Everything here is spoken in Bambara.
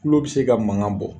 Tulo bi se ka mankan bɔ